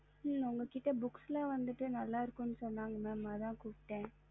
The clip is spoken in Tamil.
உங்ககிட்ட books ல வந்துட்டு நல்ல இருக்குமுன்னு சொன்னாங்க ஆதா கூப்புட்ட